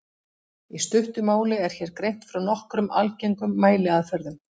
Í stuttu máli er hér greint frá nokkrum algengum mæliaðferðum.